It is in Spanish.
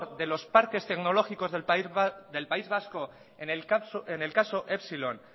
de los parques tecnológicos del país vasco en el caso epsilon